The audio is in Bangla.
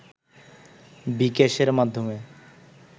বি-ক্যাশের মাধ্যমে